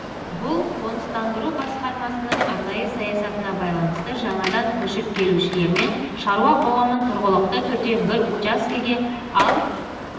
бұл қоныстандыру басқармасының арнайы саясатына байланысты жаңадан көшіп келушілермен шаруа қоғамын тұрғылықты түрде бір учаскеге ал